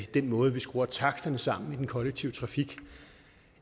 den måde vi skruer taksterne sammen på i den kollektive trafik